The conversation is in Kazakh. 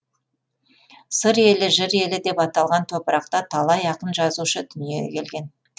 сыр елі жыр елі деп аталған топырақта талай ақын жазушы дүниеге келген